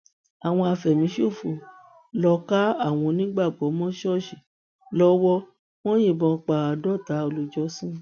àwọn àfẹmíṣòfò lóo ká àwọn onígbàgbọ mọ ṣọọṣì lọwọ wọn yìnbọn pa bíi àádọta olùjọsìn